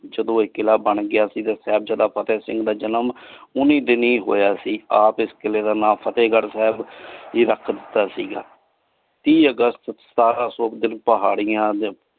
ਜਦੋ ਇਹ ਕਿਲਾ ਬਣ ਗਯਾ ਸੀ ਤੇ ਸਾਹਿਬਜਾਦਾ ਫ਼ਤੇਹ ਸਿੰਘ ਦਾ ਜਨਮ ਓਹਨਾ ਦਿਨੀ ਹੋਯਾ ਸੀ ਆਪ ਇਸ ਕੀਲੇ ਦਾ ਨਾਮ ਫ਼ਤੇਹਗਢ਼ ਸਾਹਿਬ ਜੀ ਰਖ ਦਿਤਾ ਸੀਗਾ ਤੀ august ਸਤਾਰਾਂ ਸੋ ਪਹਾੜੀਆਂ।